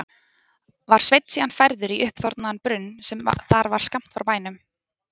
Var Sveinn síðan færður í uppþornaðan brunn sem þar var skammt frá bænum.